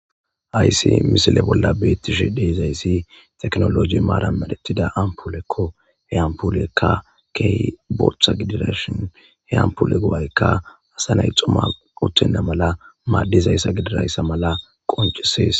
Hayssi misile bolla beeththishe de7izayssi teknoolooje maaran medheththida amppuulekko; he ampuleekka kehi boththa gidirashen he amppule go7aykka asa nay xuma uththenna mala maaddizayssa gidirayssa mala qonccissees.